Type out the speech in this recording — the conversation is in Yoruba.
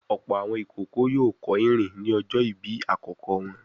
Ọ̀pọ̀ àwọn ìkókó yóò kọ́ ìrìn ní ọjọ́ ìbí àkókò wọn.